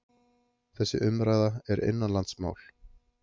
Þessi umræða er innanlandsmál